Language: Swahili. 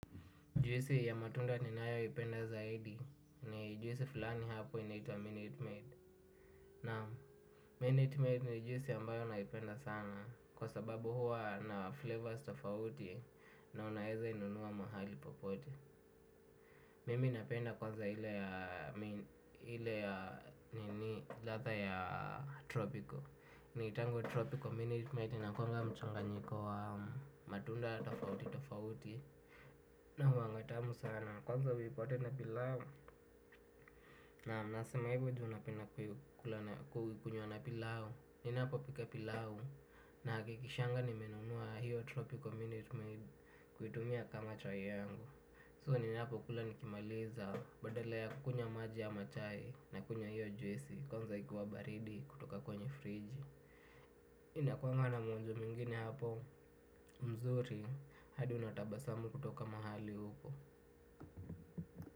Juisi ya matunda ninayoipenda zaidi ni juisi fulani hapo inaitwa Minute Maid. Na Minute Maid ni juisi ambayo naipenda sana kwa sababu huwa na flavors tofauti na unaeza inunua mahali popote. Mimi napenda kwanza ile ya nini ladha ya Tropical. Inaiwanga Tropical Minute Maid inakuanga mchanganyiko wa matunda tofauti tofauti. Na huanga tamu sana, kwanza uipate na pilau nam nasema hivyo ju napenda kuikula na kukunywa na pilau. Ninapopika pilau nahakikishanga nimenunua hiyo tropical minute maid kuitumia kama chai yangu So ninapokula nikimaliza badala ya kunywa maji ama chai nakunywa hiyo juisi. Kwanza ikiwa baridi kutoka kwenye fridge. Inakuanga na mwonjo mwingine hapo. Mzuri, hadi unatabasamu kutoka mahali upo.